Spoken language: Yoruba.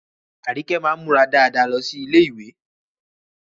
Arike máa ń múra dáadáa lọ sí ilé-ìwé